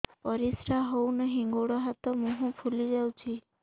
ପରିସ୍ରା ହଉ ନାହିଁ ଗୋଡ଼ ହାତ ମୁହଁ ଫୁଲି ଯାଉଛି